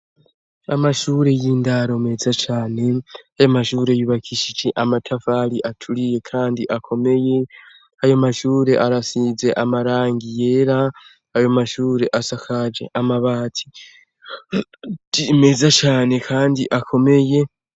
Amashure y'indaro meza cane ayo mashure yubakishije amatafali aturiye, kandi akomeye ayo mashure arasize amarangi yera ayo mashure asakaje amabati meza cane, kandi akomeye.